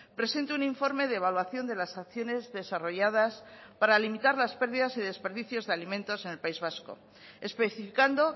presente un informe de evaluación de las acciones desarrolladas para limitar las pérdidas y desperdicios de alimentos en el país vasco especificando